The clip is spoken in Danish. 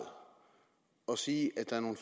at sige at der er nogle